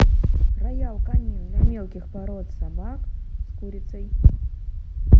роял канин для мелких пород собак с курицей